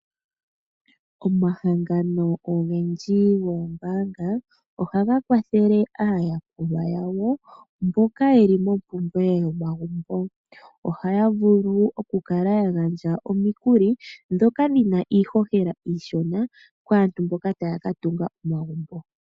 Omahangano ogendji goombaanga ohaga kwathele aayakulwa yawo mboka yeli mompumbwe yomagumbo. Ohaya vulu oku kala ya gandja omikuli dhoka dhina iihohela iishona kaantu mboka taya ka tunga omagumbo.